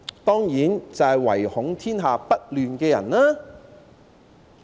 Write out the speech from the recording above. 當然是唯恐天下不亂的人。